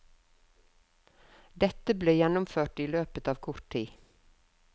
Dette ble gjennomført i løpet av kort tid.